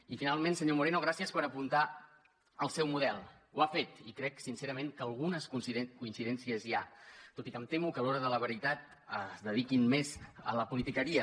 i finalment senyor moreno gràcies per apuntar el seu model ho ha fet i crec sincerament que algunes coincidències hi ha tot i que em temo que a l’hora de la veritat es dediquin més a la politiqueria